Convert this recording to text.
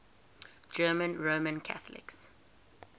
german roman catholics